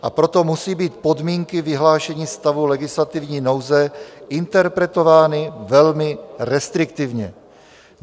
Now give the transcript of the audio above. - "A proto musí být podmínky vyhlášení stavu legislativní nouze interpretovány velmi restriktivně.